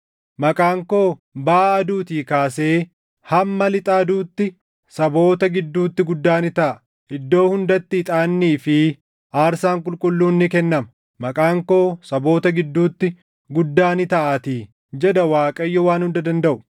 “Maqaan koo baʼa aduutii kaasee hamma lixa aduutti saboota gidduutti guddaa ni taʼa. Iddoo hundatti ixaannii fi aarsaan qulqulluun ni kennama; maqaan koo saboota gidduutti guddaa ni taʼaatii” jedha Waaqayyo Waan Hunda Dandaʼu.